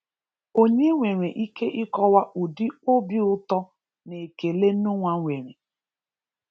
Onye nwere ike ịkọwa ụdị obi ụtọ na ekele Nọah nwere!